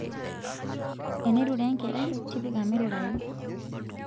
enirure enkerai tipika mirurayu